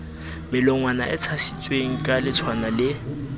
melongwana e tshasitsweng kaletshwana le